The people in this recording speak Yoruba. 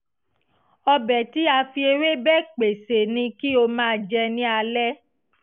ọbẹ̀ tí a fi ewébẹ̀ pèsè ni kí o máa jẹní alẹ́